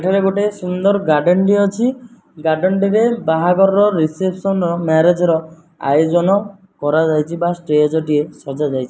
ଏଠାରେ ଗୋଟେ ସୁନ୍ଦର ଗାର୍ଡେନ ଟିଏ ଅଛି ଗାର୍ଡେନ ଟିରେ ବାହାଘର ର ରିସେପ୍ସନ ର ମ୍ୟାରେଜ ର ଆୟୋଜନ କରାଯାଇଚି ବା ଷ୍ଟେଜ ଟିଏ ସଜା ଯାଇଚି।